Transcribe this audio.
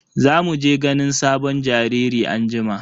Za mu je ganin sabon jariri anjima.